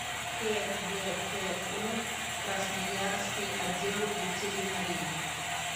кгку красноярский отдел ветеринарии